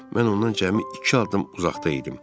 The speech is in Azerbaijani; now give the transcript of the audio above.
Mən ondan cəmi iki addım uzaqda idim.